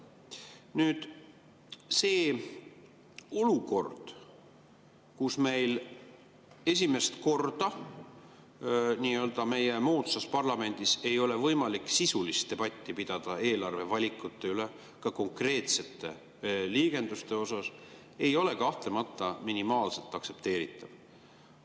Nüüd, see olukord, kus meil esimest korda meie nii-öelda moodsas parlamendis ei ole võimalik sisulist debatti pidada eelarvevalikute üle, ka konkreetsete liigenduste osas, ei ole kahtlemata minimaalseltki aktsepteeritav.